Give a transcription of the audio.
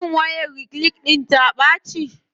Shin wayar reclean ɗIn ta ɓaci.